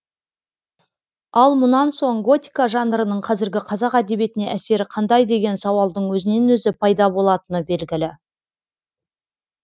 ал мұнан соң готика жанрының қазіргі қазақ әдебиетіне әсері қандай деген сауалдың өзінен өзі пайда болатыны белгілі